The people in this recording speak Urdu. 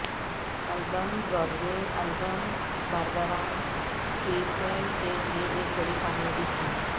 album Broadway album Barbra Streisand کے لئے ایک بڑی کامیابی تھی